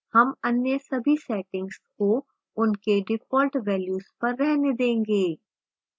हम अन्य सभी settings को उनके default values पर रहने देंगे